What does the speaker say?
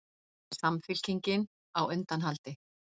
Samfylkingin á undanhaldi